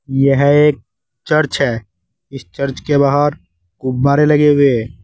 यह एक चर्च है। इस चर्च के बाहर गुब्बारें लगे हुए हैं।